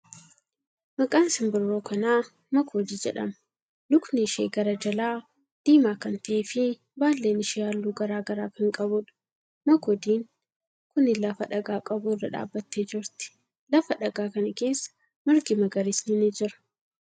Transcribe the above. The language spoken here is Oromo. Maqaan simbirroo kanaa makoodii jedhama. Lukni ishee gara jalaa diimaa kan ta'ee fi baallen ishee haalluu garagaraa kan qabuudha. Makoodin kuni lafa dhagaa qabu irra dhaabbattee jirti. Lafa dhagaa kana keessa margi magariisni ni jira.